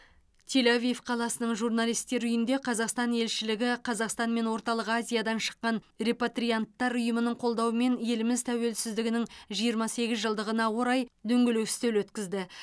тель авив қаласының журналисттер үйінде қазақстан елшілігі қазақстан мен орталық азиядан шыққан репатрианттар ұйымының қолдауымен еліміз тәуелсіздігінің жиырма сегіз жылдығына орай дөңгелек үстел өткізді